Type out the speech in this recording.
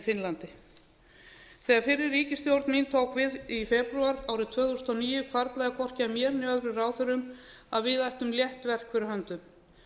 finnlandi þegar fyrri ríkisstjórn mín tók við í febrúar árið tvö þúsund og níu hvarflaði ekki að hér né nokkrum öðrum ráðherrum við ættum létt verk fyrir höndum